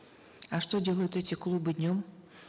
а что делают эти клубы днем